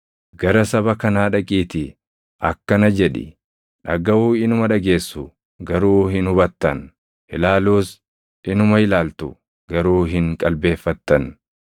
“ ‘Gara saba kanaa dhaqiitii akkana jedhi; “Dhagaʼuu inuma dhageessu; garuu hin hubattan; ilaaluus inuma ilaaltu; garuu hin qalbeeffattan.”